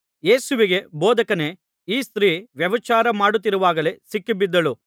ಯೇಸುವಿಗೆ ಬೋಧಕನೇ ಈ ಸ್ತ್ರೀ ವ್ಯಭಿಚಾರ ಮಾಡುತ್ತಿರುವಾಗಲೇ ಸಿಕ್ಕಿಬಿದ್ದಳು